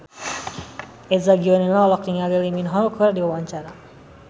Eza Gionino olohok ningali Lee Min Ho keur diwawancara